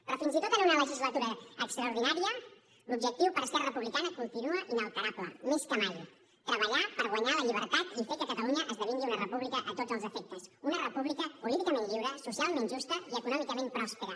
però fins i tot en una legislatura extraordinària l’objectiu per a esquerra republicana continua inalterable més que mai treballar per guanyar la llibertat i fer que catalunya esdevingui una república a tots els efectes una república políticament lliure socialment justa i econòmicament pròspera